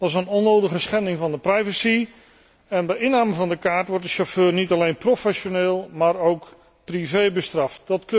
Dat is een onnodige schending van de privacy en bij inname van de kaart wordt de chauffeur niet alleen professioneel, maar ook privé gestraft.